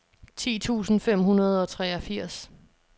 ti tusind fem hundrede og treogfirs